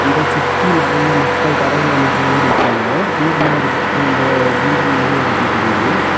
இத சுத்தி நெறைய மக்கள் கரையில நெறைய பேரு நிக்குறாங்க தூரமா ஒரு அந்த பில்டிங் மாறி ஒரு இது தெரிது.